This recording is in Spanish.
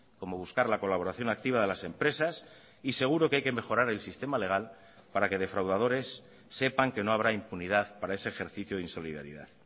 como buscar la colaboración activa de las empresas y seguro que hay que mejorar el sistema legal para que defraudadores sepan que no habrá impunidad para ese ejercicio de insolidaridad